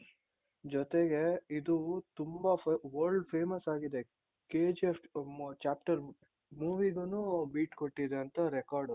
ಜೊತೆಗೆ ಇದು ತುಂಬಾ world famous ಆಗಿದೆ KGF chapter movie ಗೂನು beat ಕೊಟ್ಟಿದೆ ಅಂತ record.